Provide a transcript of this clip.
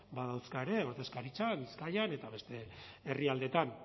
badauzka ere ordezkaritza bizkaian eta beste herrialdeetan